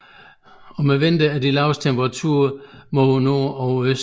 Om vinteren er de laveste temperaturen mod nord og øst